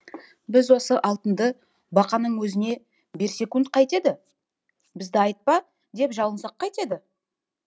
біз осы алтынды бақаның өзіне берсекунд қайтеді бізді айтпа деп жалынсақ қайтеді